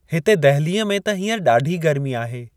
हिते दहलीअ में त हींअर ॾाढी गर्मी आहे।